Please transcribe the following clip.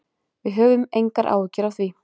Við höfum engar áhyggjur af því.